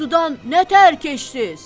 Sudan nətər keçdiz?